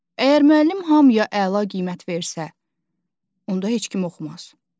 Əgər müəllim hamıya əla qiymət versə, onda heç kim oxumaz.